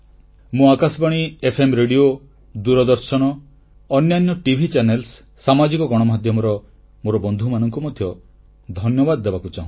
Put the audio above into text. ମୁଁ Akashvani FM radio Doordarshan ଅନ୍ୟାନ୍ୟ TV channel ସାମାଜିକ ଗଣମାଧ୍ୟମର ମୋର ବନ୍ଧୁମାନଙ୍କୁ ମଧ୍ୟ ଧନ୍ୟବାଦ ଦେବାକୁ ଚାହୁଁଛି